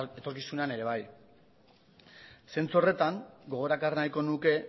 etorkizunean ere bai zentsu horretan gogora ekarri nahiko nuke